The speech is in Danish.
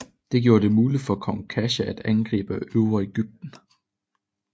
Det gjorde det muligt for kong Kasha at angribe Øvre Egypten